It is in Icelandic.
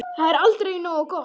Það er aldrei nógu gott.